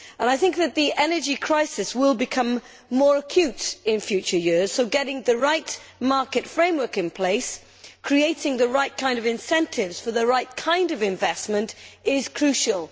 I think that the energy crisis will become more acute in future years, so getting the right market framework in place, and creating the right kind of incentives for the right kind of investment, is crucial.